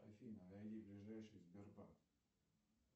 афина найди ближайший сбербанк